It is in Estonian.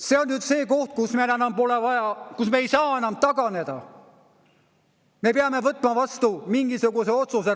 See on nüüd see koht, kus meil enam pole vaja, kus me ei saa enam taganeda, me peame võtma vastu mingisuguse otsuse.